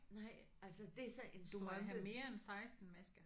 Nej altså det er så en strømpe